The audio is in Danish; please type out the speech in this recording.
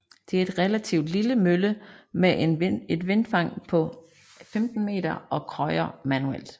Det er en relativt lille mølle med et vindfang på 15 meter og krøjer manuelt